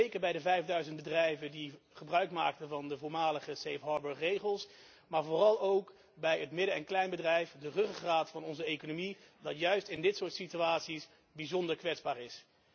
Zeker bij de vijfduizend bedrijven die gebruikmaakten van de voormalige Safe Harbour regels, maar vooral ook bij het midden en kleinbedrijf, de ruggengraat van onze economie die juist in dit soort situaties bijzonder kwetsbaar is.